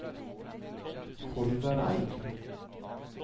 Kolvereid